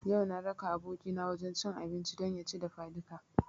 Yau na raka abokina wajen cin abinci don ya ci dafadika